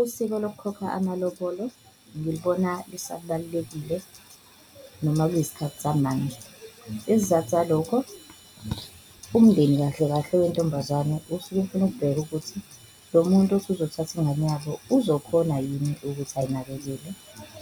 Usiko lokukhokha amalobolo ngilibona lisabalulekile noma kuyisikhathi samanje, isizathu salokho umndeni kahle kahle wentombazane usuke ufuna ukubheka ukuthi lo muntu othi uzothatha ingane yabo uzokhona yini ukuthi ayinakekile.